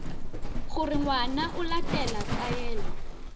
gore ngwana o latela taelo